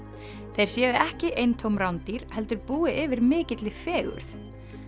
þeir séu ekki bara eintóm rándýr heldur búi yfir mikilli fegurð